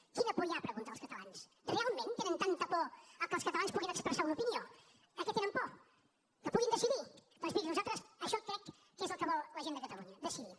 quina por hi ha de preguntar als catalans realment tenen tanta por de que els catalans puguin expressar una opinió de què tenen por que puguin decidir doncs miri això crec que és el que vol la gent de catalunya decidir